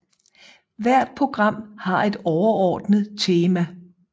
Hvert program har et overordnet tema